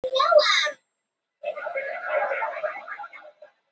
Miðasala hefst í Hörpu í dag